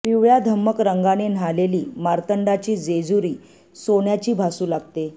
पिवळ्या धमक रंगाने न्हालेली मार्तंडाची जेजुरी सोन्याची भासू लागते